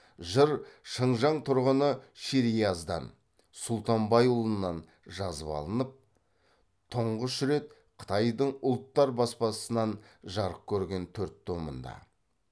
жыр шыңжың тұрғыны шерияздан сүлтанбайұлынан жазып алынып тұңғыш рет қытайдың ұлттар баспасынан жарық көрген төрт томында